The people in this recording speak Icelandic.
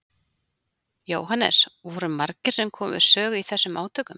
Jóhannes: Voru margir sem komu við sögu í þessum átökum?